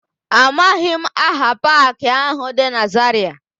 Amaghị m aha paakị áhụ̀ dị na Zarịa.